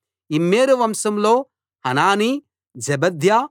Immer వంశంలో Hanani జెబద్యా